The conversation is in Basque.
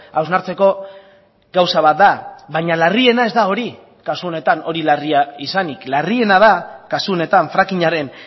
hausnartzeko gauza bat da baina larriena ez da hori kasu honetan hori larria izanik larriena da kasu honetan frackingaren